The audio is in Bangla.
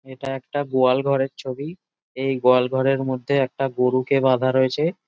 এটা একটা গোয়াল ঘরের ছবি এই গোয়াল ঘরের মধ্যে একটা গরুকে বাধা রয়েছে ।